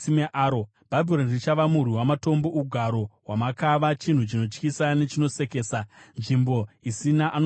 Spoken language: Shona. Bhabhironi richava murwi wamatombo, ugaro hwamakava, chinhu chinotyisa nechinosekesa, nzvimbo isina anogaramo.